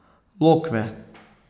Lokve.